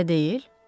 Elə deyil?